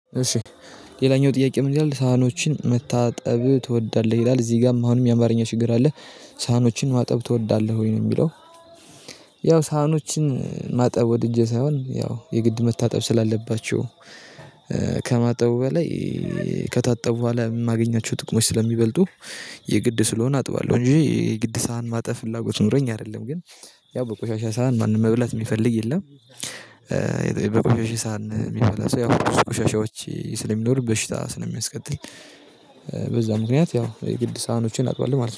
እሺ ሌላኛው ጥያቄ ምን ይላል ሳህኖችን መታጠብ ትወዳለህ? ይላል እዚህ ጋርም አሁንም የአማርኛ ችግር አለ ሳህኖችን ማጠብ ትወዳለህ ወይ? ነው የሚለው ያው ሳህኖችን ማጠብ ወድጄ ሳይሆን ያው የግድ መታጠብ ስላለባቸው ከማጠቡ በላይ ከታጠቡ በኋላ የማገኛቸው ጥቅሞች ስለሚበልጡ የግድ ስለሆነ አጥባለሁ እንጂ የግድ ሳህን ማጠብ ፍላጎት ኖረኝ አይደለም ግን ያው በቆሻሻ ሳህን ማንም መብላት የሚፈልግ የለም በቆሻሻ ሳህን የሚበላ ሰው ያው ቆሻሻዎች ስለሚኖሩ በሽታ ስለሚያስከትል በዛ ምክንያት ያው የግድ ሳህኖችን አጥባለሁ ማለት ነው።